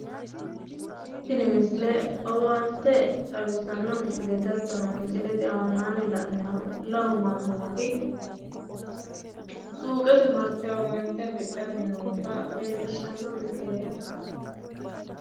Tini misile owaante leelishano misileti lamu manni suuqe martinowa owaante afidhanni nootta leelishano misileti